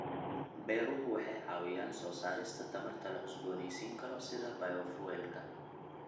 Beeruhu waxay caawiyaan soo saarista tamarta la cusboonaysiin karo sida bayofuelka.